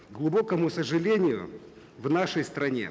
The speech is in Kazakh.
к глубокому сожалению в нашей стране